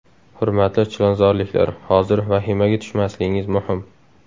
Hurmatli chilonzorliklar, hozir vahimaga tushmasligimiz muhim.